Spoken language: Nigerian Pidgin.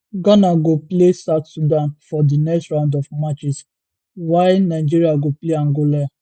ghana go play south sudan for di next round of matches wia niger go play angola